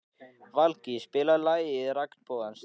Valgý, spilaðu lagið „Regnbogans stræti“.